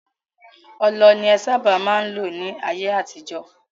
Ọlọ ni en sábà má n lò ní ayé àtijọ́.